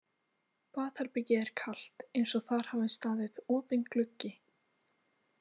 Baðherbergið er kalt eins og þar hafi staðið opinn gluggi.